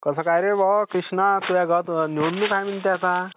कसं काय रे भावा कृष्णा, तुझ्या गावात निवडणूक आहे म्हणते आता?